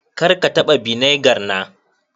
Kar ka taba vinegar na.